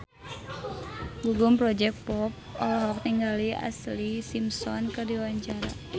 Gugum Project Pop olohok ningali Ashlee Simpson keur diwawancara